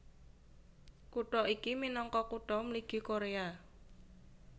Kutha iki minangka Kutha Mligi Koréa